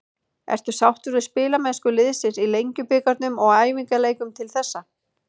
Ertu sáttur við spilamennsku liðsins í Lengjubikarnum og æfingaleikjum til þessa?